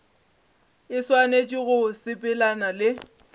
e swanetše go sepelelana le